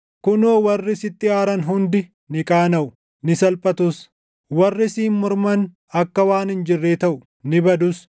“Kunoo, warri sitti aaran hundi, ni qaanaʼu; ni salphatus; warri siin morman akka waan hin jirree taʼu; ni badus.